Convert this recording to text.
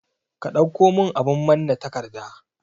Ka ɗauko min abun manna takarda